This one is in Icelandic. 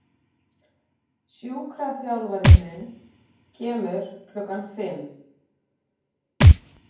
Sjúkraþjálfarinn minn kemur klukkan fimm.